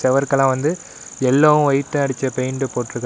சுவருக்கெல்லாம் வந்து எல்லோவும் ஒயிட் அடிச்ச பெயிண்ட்டு போட்டுருக்காங்க.